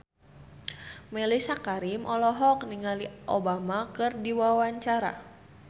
Mellisa Karim olohok ningali Obama keur diwawancara